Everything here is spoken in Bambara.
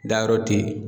Dayɔrɔ te yen